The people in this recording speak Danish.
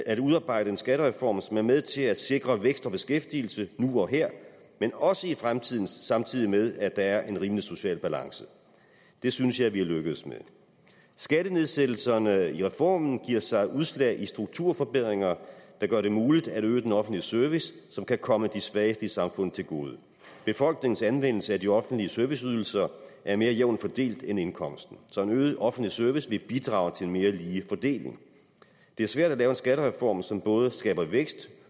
at udarbejde en skattereform som er med til at sikre vækst og beskæftigelse nu og her men også i fremtiden samtidig med at der er en rimelig social balance det synes jeg vi er lykkedes med skattenedsættelserne i reformen giver sig udslag i strukturforbedringer der gør det muligt at øge den offentlige service noget som kan komme de svageste i samfundet til gode befolkningens anvendelse af de offentlige serviceydelser er mere jævnt fordelt end indkomsten så en øget offentlig service vil bidrage til en mere ligelig fordeling det er svært at lave en skattereform som både skaber vækst